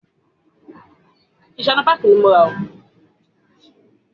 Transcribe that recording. Bẹ́ẹ̀ ni, mò ń ṣe kẹ́kì.